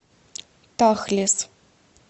тахлес